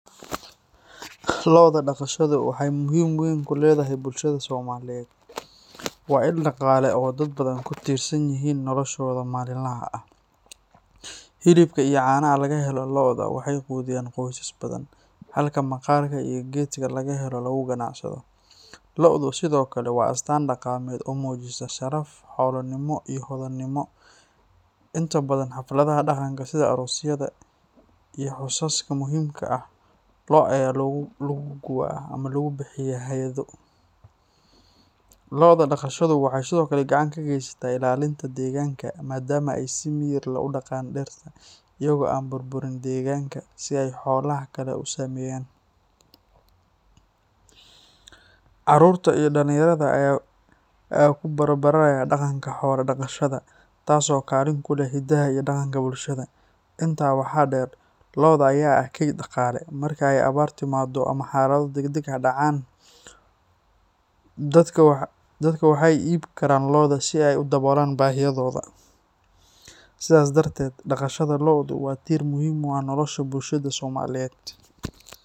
Lo'da dhaqashadu waxay muhiim weyn ku leedahay bulshada Soomaaliyeed. Waa il dhaqaale oo dad badan ku tiirsan yihiin noloshooda maalinlaha ah. Hilibka iyo caanaha laga helo lo'da waxay quudiyaan qoysas badan, halka maqaarka iyo geedka laga helo lagu ganacsado. Lo'du sidoo kale waa astaan dhaqameed oo muujisa sharaf, xoolonimo, iyo hodannimo. Inta badan xafladaha dhaqanka sida aroosyada iyo xusaska muhiimka ah, lo' ayaa lagu gubaa ama lagu bixiyaa hadyado. Lo'da dhaqashadu waxay sidoo kale gacan ka geysataa ilaalinta deegaanka, maadaama ay si miyir leh u daaqaan dhirta, iyagoo aan burburin deegaanka sida ay xoolaha kale u sameeyaan. Carruurta iyo dhalinyarada ayaa ku barbaaraya dhaqanka xoolo-dhaqashada taas oo kaalin ku leh hiddaha iyo dhaqanka bulshada. Intaa waxaa dheer, lo'da ayaa ah kayd dhaqaalaha, marka ay abaar timaaddo ama xaalado degdeg ah dhacaan, dadka waxay iibin karaan lo'dooda si ay u daboolaan baahiyahooda. Sidaas darteed, dhaqashada lo'du waa tiir muhiim ah oo nolosha bulshada Soomaaliyeed.